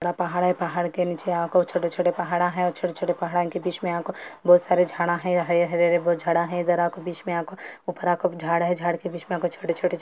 हमारे पहाड़ के छोटे-छोटे झाड़ है पहाड़ों के बीच में छोटे-छोटे झड़ रहे और हरे हरे रंग के हैं|